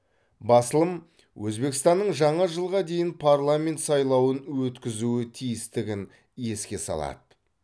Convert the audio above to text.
басылым өзбекстанның жаңа жылға дейін парламент сайлауын өткізуі тиістігін еске салады